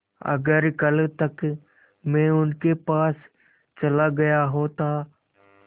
अगर कल तक में उनके पास चला गया होता